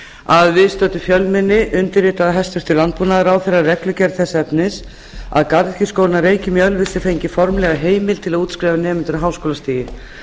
að viðstöddu fjölmenni undirritaði hæstvirtur landbúnaðarráðherra reglugerð þess efnis að garðyrkjuskólinn að reykjum í ölfusi fengi formlega heimild til að útskrifa nemendur á háskólastigi